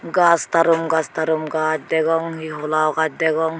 gash tatumgash tarumgash degong he hola gash degong.